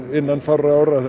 innan fárra ára